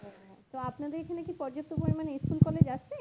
আপনাদের এখানে কি পর্যাপ্ত পরিমাণে school college আছে